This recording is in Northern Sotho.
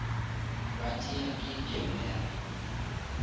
ba tšea ke camera